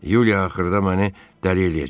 Yuliya axırda məni dəli eləyəcək.